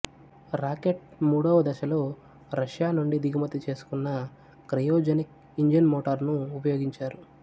rocket మూడవ దశలో రష్యానుండి దిగుమతిచేసుకున్న క్రయోజనిక్ ఇంజన్మోటారును ఉపయోగించారు